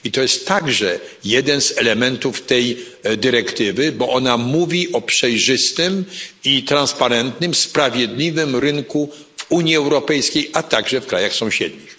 I to jest także jeden z elementów tej dyrektywy, bo ona mówi o przejrzystym i transparentnym, sprawiedliwym rynku w Unii Europejskiej, a także w krajach sąsiednich.